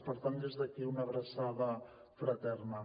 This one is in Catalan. per tant des d’aquí una abraçada fraterna